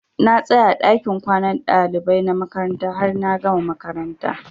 Na tsaya a ɗakin kwanan ɗalibai na makaranta har na gama makaranta.